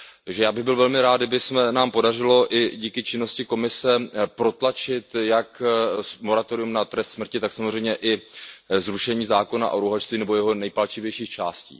Takže já bych byl velmi rád, kdyby se nám podařilo i díky činnosti Komise protlačit jak moratorium na trest smrti, tak samozřejmě i zrušení zákona o rouhačství nebo jeho nejpalčivějších částí.